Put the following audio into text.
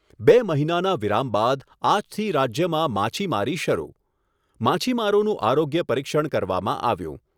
બે મહિનાના વિરામ બાદ આજથી રાજ્યમાં માછીમારી શરૂ. માછીમારોનું આરોગ્ય પરિક્ષણ કરવામાં આવ્યું.